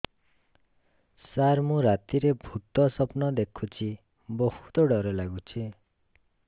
ସାର ମୁ ରାତିରେ ଭୁତ ସ୍ୱପ୍ନ ଦେଖୁଚି ବହୁତ ଡର ଲାଗୁଚି